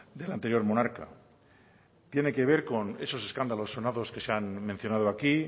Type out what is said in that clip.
del anterior monarca tiene que ver con esos escándalos sonados que se han mencionado aquí